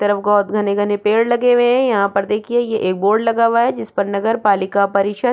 तरफ बहोत घने-घने पेड़ लगे हुए हैं यहाँ पर देखिए ये एक बोर्ड लगा हुआ हैं जिसपे नगर पालिका परिषद--